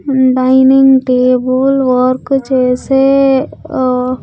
ఉమ్ dining table work చేసే ఓ.